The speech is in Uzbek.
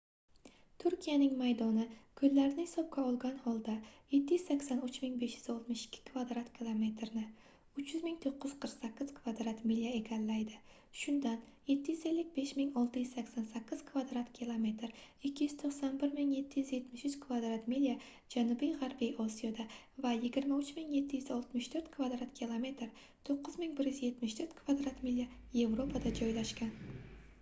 turkiyaning maydoni ko'llarni hisobga olgan holda 783 562 kvadrat kilometerni 300 948 kvadrat milya egallaydi shundan 755 688 kvadrat kilometr 291 773 kvadrat milya janubiy g'arbiy osiyoda va 23 764 kvadrat kilometr 9174 kvadrat milya yevropada joylashgan